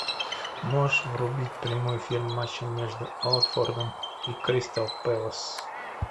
можешь врубить прямой эфир матча между уотфордом и кристал пэлас